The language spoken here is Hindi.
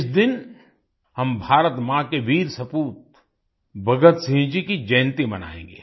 इस दिन हम भारत माँ के वीर सपूत भगत सिंह जी की जयंती मनाएंगे